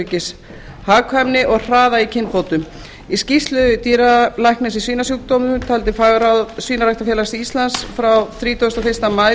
sjúkdómaöryggis hagkvæmni og hraða í kynbótum í skýrslu dýralæknis í svínasjúkdómum til fagráðs svínaræktarfélags íslands frá þrítugasta og fyrsta maí